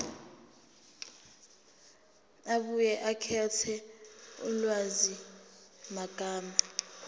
abuye akhethe ulwazimagama